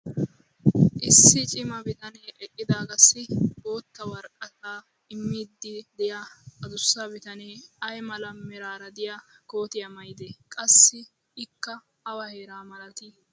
issi cimma bitanee eqqidaagassi bootta woraqataa imiidi diyaa adussa bitanee ay mala meraara diya koottiyaa maayidee? qassi ikka awa heeraa malatii?